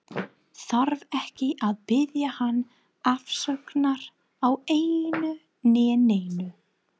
Þarf ekki að biðja hann afsökunar á einu né neinu.